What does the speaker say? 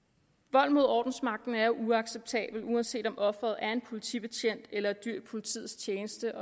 vold mod ordensmagten er uacceptabelt uanset om offeret er en politibetjent eller et dyr i politiets tjeneste